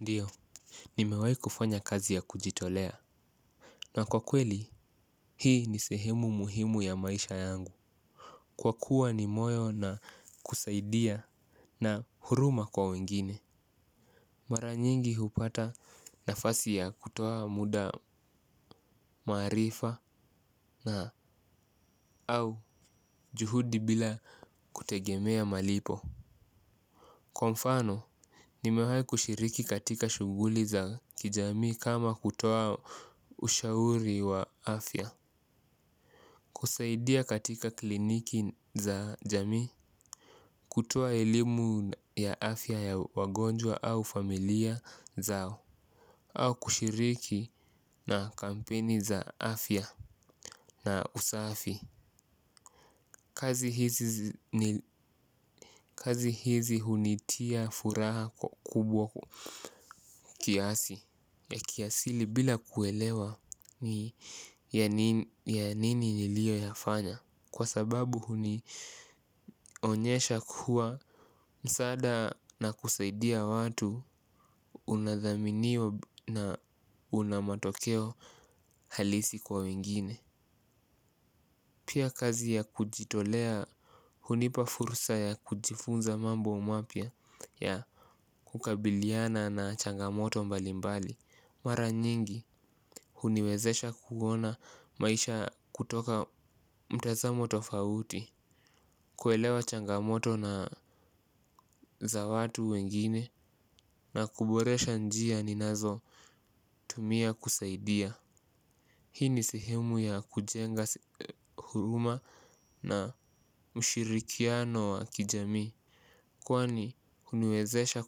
Ndiyo, nimewai kufanya kazi ya kujitolea na kwa kweli, hii ni sehemu muhimu ya maisha yangu. Kwa kuwa ni moyo na kusaidia na huruma kwa wengine. Mara nyingi hupata nafasi ya kutoa muda marifa na au juhudi bila kutegemea malipo. Kwa mfano, nimewai kushiriki katika shuguli za kijami kama kutoa ushauri wa afya. Kusaidia katika kliniki za jami kutoa elimu ya afya ya wagonjwa au familia zao au kushiriki na kampeni za afya na usafi. Kazi hizi hunitia furaha kubwa kiasi ya kiasili bila kuelewa ya nini nilio yafanya. Kwa sababu huni onyesha kuwa msada na kusaidia watu unadhaminio na unamatokeo halisi kwa wingine. Pia kazi ya kujitolea hunipa furusa ya kujifunza mambo mapia ya kukabiliana na changamoto mbalimbali mara nyingi huniwezesha kuona maisha kutoka mtazamo to fauti. Kuelewa changamoto na za watu wengine na kuboresha njia ninazo tumia kusaidia. Hii ni sehemu ya kujenga huruma na mshirikiano wa kijami kwani uniwezesha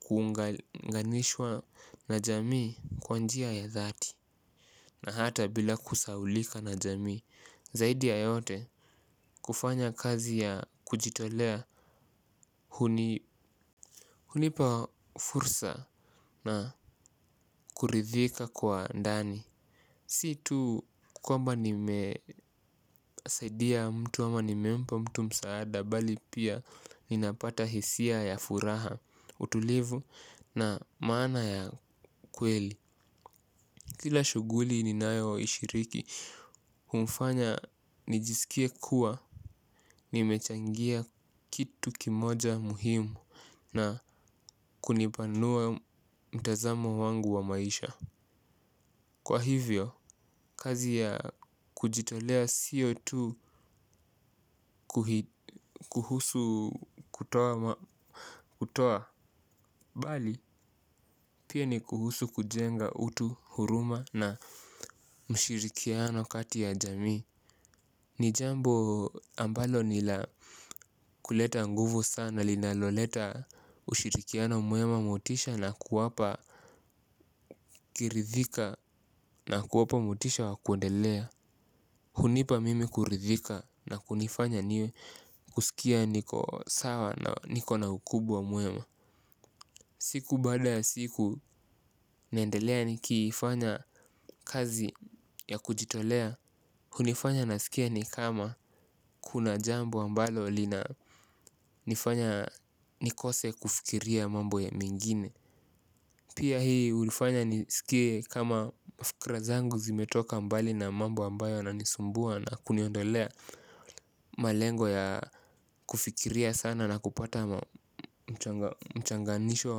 kuunganishwa na jami kwanjia ya dhati na hata bila kusaulika na jami, zaidi ya yote kufanya kazi ya kujitolea. Hunipa fursa na kuridhika kwa ndani. Situ kwa mba nimesaidia mtu ama nimempa mtu msaada bali pia ninapata hisia ya furaha, utulivu na maana ya kweli. Kila shuguli ninayo ishiriki humfanya nijisikie kuwa nimechangia kitu kimoja muhimu na kunipanua mtazamo wangu wa maisha. Kwa hivyo, kazi ya kujitolea siotu kuhusu kutoa bali, pia ni kuhusu kujenga utu, huruma na mshirikiano kati ya jamii. Nijambo ambalo nila kuleta nguvu sana linaloleta ushirikiano muema motisha na kuwapa Kirithika na kuwapamotisha wa kuendelea. Hunipa mimi kurithika na kunifanya niwe. Kusikia niko sawa na niko na ukubwa muema. Siku bada ya siku nendelea ni kifanya kazi ya kujitolea. Hunifanya na sikia ni kama kuna jambu ambalo lina nifanya nikose kufikiria mambo ya mingine. Pia hii ulifanya nisikie kama mafikra zangu zimetoka mbali na mambo ambayo na nisumbua na kuniondolea malengo ya kufikiria sana na kupata mchanganisho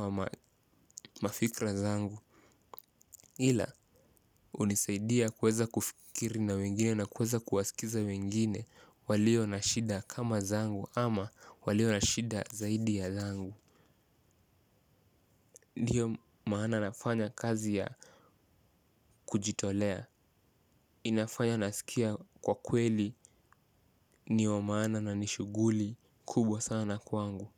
wa mafikra zangu. Hila unisaidia kweza kufikiri na wengine na kweza kuwasikiza wengine walio nashida kama zangu ama walio nashida zaidi ya zangu. Ndiyo maana nafanya kazi ya kujitolea, inafanya nasikia kwa kweli niyo maana na nishuguli kubwa sana kwangu.